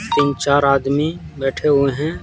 तीन -चार आदमी बैठे हुए हैं।